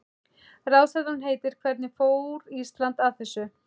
Ráðstefnan heitir Hvernig fór Ísland að þessu?